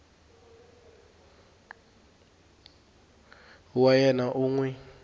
wa yena u n wi